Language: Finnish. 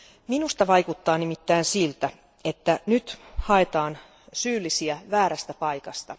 Minusta vaikuttaa nimittäin siltä, että nyt haetaan syyllisiä väärästä paikasta.